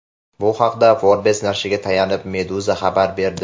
Bu haqda Forbes nashriga tayanib Meduza xabar berdi.